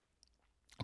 DR K